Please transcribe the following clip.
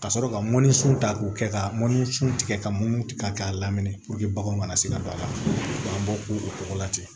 Ka sɔrɔ ka mɔnni sun ta k'o kɛ ka mɔnni sun tigɛ ka mɔni tigɛ k'a lamini purke bagan kana se ka don a la k'a bɔ ko o cogo la ten